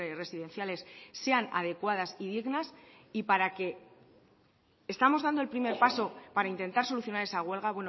residenciales sean adecuadas y dignas y para que estamos dando el primer paso para intentar solucionar esa huelga